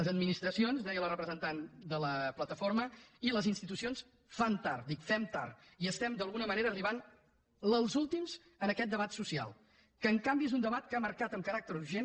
les administracions deia la representant de la plataforma i les institucions fan tard dic fem tard i estem d’alguna manera arribant els últims en aquest debat social que en canvi és un debat que ha marcat amb caràcter urgent